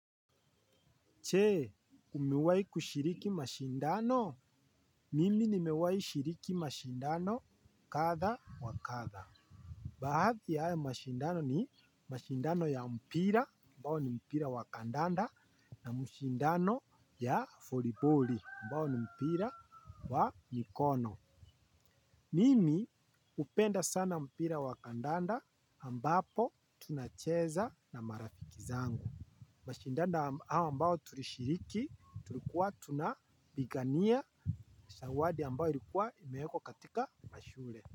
Je, umewai kushiriki mashindano? Mimi nimewai shiriki mashindano kadha wa kadha. Baadhi ya hayo mashindano ni mashindano ya mpira, ambao ni mpira wa kandanda, na mashindano ya voliboli, ambao ni mpira wa mikono. Mimi hupenda sana mpira wa kandanda ambapo tunacheza na marafiki zangu. Mashindano hayo ambayo tulishiriki tulikuwa tuna pigania zawadi ambayo ilikuwa imewekwa katika mashule.